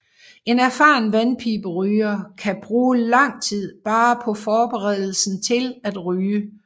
En erfaren vandpiberyger kan bruge lang tid bare på forberedelsen til at ryge